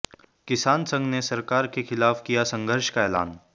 किसान संघ ने सरकार के खिलाफ किया संघर्ष का ऐलान